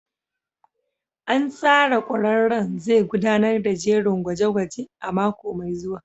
An tsara ƙwararren zai gudanar da jerin gwaje-gwaje a mako mai zuwa.